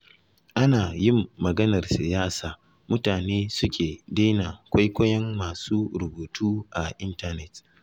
Ana yin maganar siyasa mutane suke daina kwaikwayon masu rubutu a intanet.